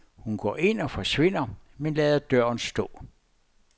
Hun går ind og forsvinder, men lader døren stå.